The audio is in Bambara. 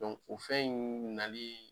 o fɛn in nali